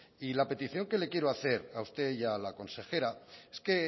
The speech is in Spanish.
y la petición que le quiero hacer a usted y a la consejera es que